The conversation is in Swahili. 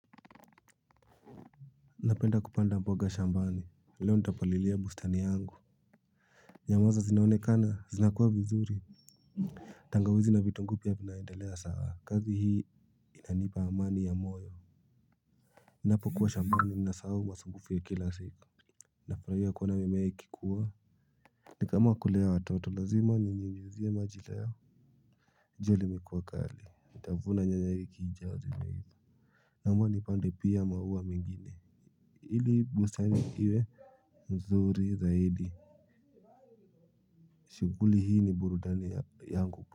Napenda kupanda mboga shambani. Leo ntapalilia bustani yangu. Nyamaza zinaonekana zinakuwa vizuri. Tangawizi na vitunguu pia vinaendelea sawa kazi hii inanipa amani ya moyo. Napo kuwa shambani ninasahu masumbufu ya kila siku. Nafurahia kuona mimea ikikuwa. Nikama kulea watoto lazima ni nyunyizie maji leo. Jua limekuwa kali nitavuna nyanya wiki ijayo zimeiva. Naona nipande pia maua mingine ili bustani iwe nzuri zaidi. Shughuli hii ni burudani yangu.